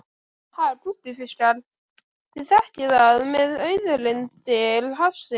Ha gúbbífiskar, þið þekkið þetta með auðlindir hafsins.